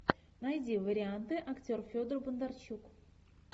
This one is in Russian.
найди варианты актер федор бондарчук